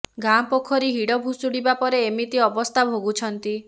ଗାଁ ପୋଖରୀ ହିଡ ଭୁଷୁଡିବା ପରେ ଏମିତି ଅବସ୍ଥା ଭୋଗୁଛନ୍ତି